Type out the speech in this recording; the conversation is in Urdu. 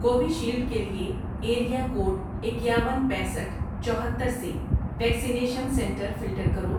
کووِشیلڈ کے لیے ایریا کوڈ اکیاون، پینسٹھ ،چوہتر سے ویکسینیشن سنٹر فلٹر کرو